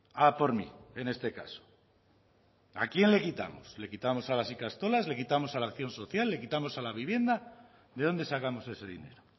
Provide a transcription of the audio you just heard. a por mí en este caso a quién le quitamos le quitamos a las ikastolas le quitamos a la acción social le quitamos a la vivienda de dónde sacamos ese dinero